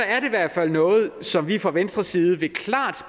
i hvert fald noget som vi fra venstres side klart